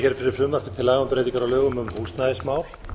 laga um breytingar á lögum um húsnæðismál